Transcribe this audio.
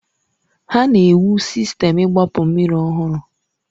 Ha na-ewu Sistemu igbapu mmiri ọhụrụ.